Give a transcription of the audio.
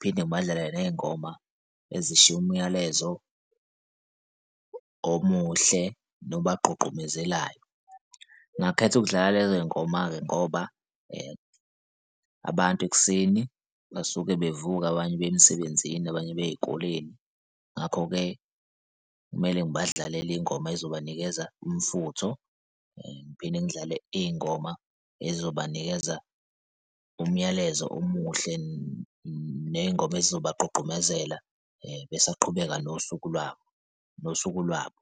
phinde ngibadlalele ney'ngoma ezishiya umyalezo omuhle nobagqugqubezelayo. Ngakhetha ukudlala lezo ngoma-ke ngoba abantu ekuseni basuke bevuka abanye beye emsebenzini, abanye beye ey'koleni. Ngakho-ke kumele ngibadlalele iy'ngoma ezobanikeza umfutho ngiphinde ngidlale iy'ngoma ezobanikeza umyalezo omuhle ney'ngoma ey'zobagqugqumezela, besaqhubeka nosuku lwabo, nosuku lwabo.